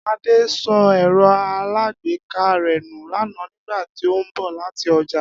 Adé so̩ è̩ro̩ alágbèéká rè̩ nù lánàá nígbà tí ó ń bò̩ láti o̩jà